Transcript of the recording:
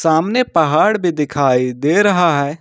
सामने पहाड़ भी दिखाई दे रहा है।